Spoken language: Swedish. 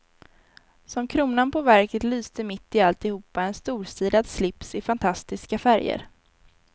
Som kronan på verket lyste mitt i alltihopa en storstilad slips i fantastiska färger.